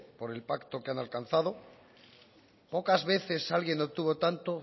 por el pacto que han alcanzado pocas veces alguien obtuvo tanto